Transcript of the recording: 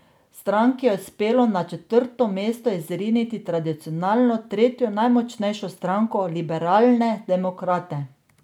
Stranki je uspelo na četrto mesto izriniti tradicionalno tretjo najmočnejšo stranko, liberalne demokrate.